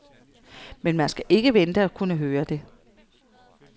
Men man skal ikke vente at kunne høre det.